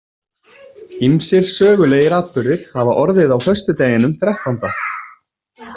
Ýmsir sögulegir atburðir hafa orðið á föstudeginum þrettánda.